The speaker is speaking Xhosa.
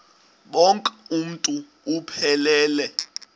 bonk uuntu buphelele